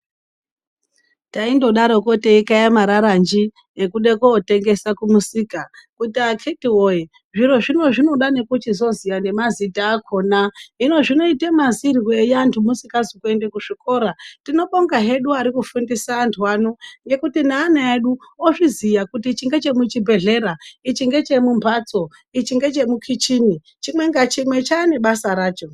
Taindodaroko teikaye mararanji ekude kotengesa kumusika kuti akhiti woye zvirozvi zvinoda nekuchizoziya nemazita akhona hino zvinoite mazirwei antu musikazi kuende kuzvikora tinobonga hedu arikufundise antu ano ngekuti neana edu ozviziya kuti ichi ngechemuchibhedhlera, ichi nhechemumbatso ichi ngechemukichini, chimwe ngachimwe chane basa racho.